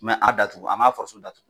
Mɛ a datugu, an b'a fɔsu datuugu.